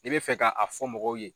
I be fɛ ka a fɔ k'a fɔ mɔgɔw ye